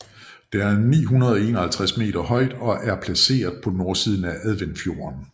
Det er 951 meter højt og er placeret på nordsiden af Adventfjorden